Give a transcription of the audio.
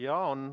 Jaa, on.